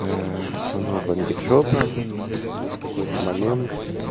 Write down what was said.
у него бомбит жопа и в какой-то момент